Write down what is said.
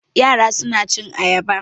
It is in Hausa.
Yara suna cin ayaba.